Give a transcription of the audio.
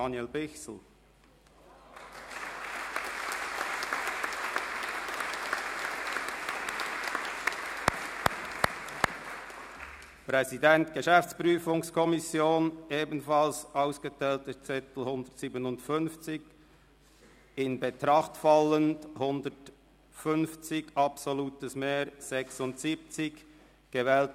Bei 157 ausgeteilten und 157 eingegangenen Wahlzetteln, wovon leer 7 und ungültig 0, in Betracht fallend 150, wird bei einem absoluten Mehr von 76 gewählt: